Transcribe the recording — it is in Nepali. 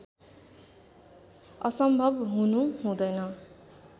असम्भव हुनु हुँदैन